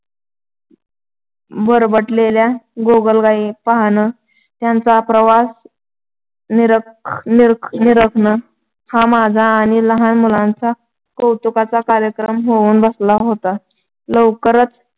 बरबरटेल्या गोगलगाई पाहणं, त्यांचा प्रवास निरख निरखणं हा माझा आणि लहान मुलांचा कौतुकाचा कार्यक्रम होऊन बसला होता. लवकरच